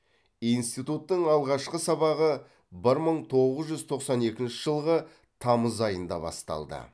институттың алғашқы сабағы бір мың тоғыз жүз тоқсан екінші жылғы тамыз айында басталды